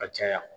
Ka caya